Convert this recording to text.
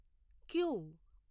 queue